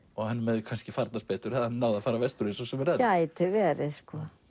honum hefði kannski farnast betur hefði hann náð vestur eins og sumir aðrir gæti verið